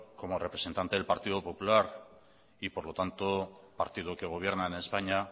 como representantes del partido popular y por lo tanto partido que gobierno en españa